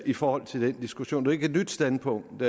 i forhold til den diskussion jo ikke et nyt standpunkt